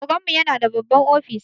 Oganmu yana da babban ofis.